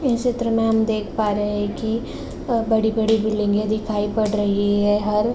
इस चित्र में हम देख पा रहे हैं की अ बड़ी-बड़ी बिल्डिंगे दिखाई पड़ रही है। हर --